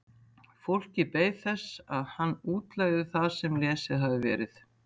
Fólkið beið þess að hann útlegði það sem lesið hafði verið.